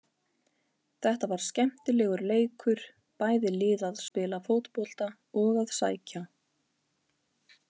Þetta var skemmtilegur leikur, bæði lið að spila fótbolta og að sækja.